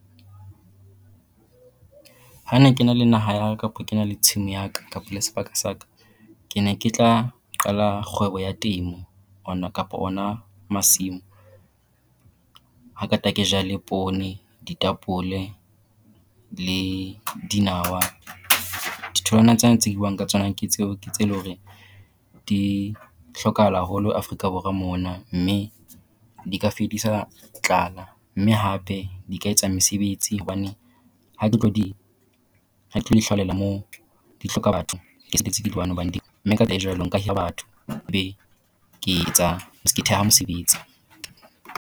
Ha ne ke na le naha ya ka kapo ke na le tshimo ya ka kapo le sebaka sa ka, ke ne ke tla qala kgwebo ya temo ona kapo ona masimo. Ha qeta ke jale poone ditapole le dinawa, ditholwana tsena tse ke buang ka tsona ke tseo ke tse e le hore di hlokahala haholo Africa Borwa mona. Mme di ka fedisa tlala mme hape di ka etsa mesebetsi hobane ha ke tlo di ha ke tlo di hlaolela mo di hloka batho mme ka jwalo nka hira batho be ke etsa ke theha mesebetsi.